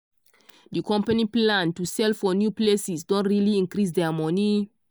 di company plan to sell for new places don really increase their money.